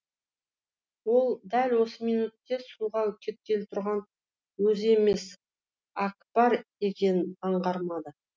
ол дәл осы минутте суға кеткелі тұрған өзі емес әкпар екенін аңғармады